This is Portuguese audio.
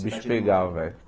O bicho pegava, velho.